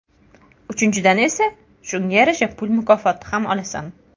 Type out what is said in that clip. Uchinchidan esa, shunga yarasha mukofot puli ham olasan.